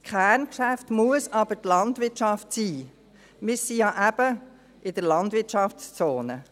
Das Kerngeschäft muss aber die Landwirtschaft sein, wir sind ja eben in der Landwirtschaftszone.